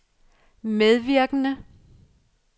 medvirkende